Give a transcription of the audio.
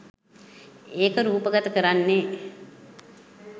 ඒක රූපගත කරන්නේ